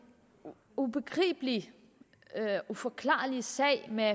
ubegribelig uforklarlig sag med